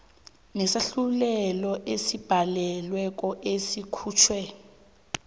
nesahlulelo esibhalelweko esikhutjhwe